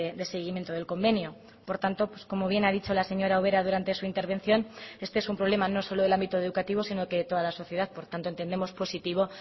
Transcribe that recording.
de seguimiento del convenio por tanto pues como bien ha dicho la señora ubera durante su intervención este es un problema no solo del ámbito educativo sino que toda la sociedad por tanto entendemos positivo